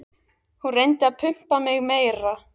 Hún reyndi að pumpa mig meira.